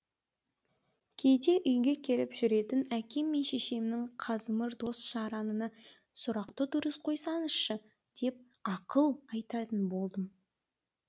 кейде үйге келіп жүретін әкем мен шешемнің қазымыр дос жаранына сұрақты дұрыс қойсаңызшы деп ақыл айтатын болдым